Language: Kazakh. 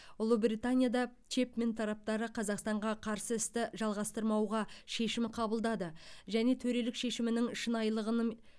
ұлыбританияда чэпмен тараптары қазақстанға қарсы істі жалғастырмауға шешім қабылдады және төрелік шешімінің шынайылығының